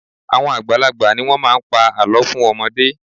Àwọn àgbàlagbà ni wọ́n máa ń pa àlọ́ fún ọmọdé